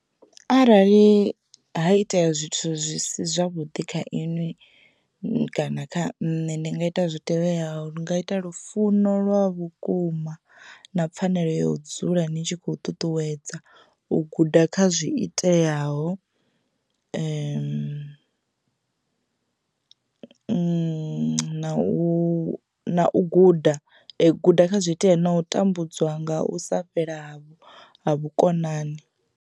Arali ha itea zwithu zwi si zwavhuḓi kha inwi kana kha nṋe ndi nga ita zwi tevhelaho, ndi nga ita lufuno lwa vhukuma na pfanelo ya u dzula ni tshi khou ṱuṱuwedza u guda kha zwi iteaho na u guda guda kha zwoitea na u tambudzwa nga u sa fhela ha vhukonani.